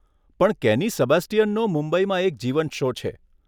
પણ કેની સેબાસ્ટિયનનો મુંબઈમાં એક જીવંત શો છે.